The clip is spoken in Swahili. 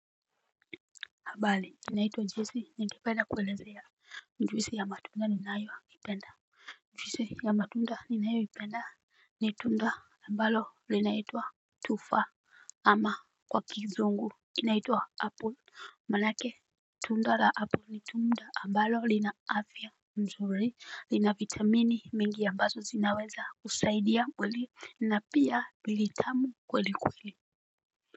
Habari, kinaitwa Jesse, nikipenda kuwaelezea. Juisi ya matunda ninayoipenda ni tunda. Juisi ya matunda ninayoipenda ni tunda. Ambalo linaitwa tufaa ama kwa kizungu kinaituwa Apple manake. Tunda la apple ni tunda ambalo lina afya mzuri, lina vitamini mingi ambazo zinaweza kusaidia kweli na pia ni litamu kweli kweli.